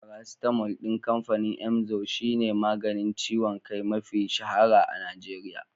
Farasitamal ɗin kamfanin imzo shi ne maganin ciwon kai mafi shahara a Najeriya.